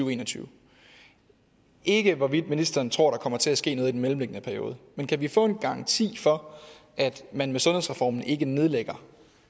og en og tyve og ikke hvorvidt ministeren tror at der kommer til at ske noget i den mellemliggende periode kan vi få en garanti for at man med sundhedsreformen ikke nedlægger